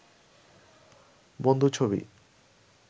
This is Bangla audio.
বন্ধু ছবি